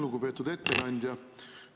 Lugupeetud ettekandja!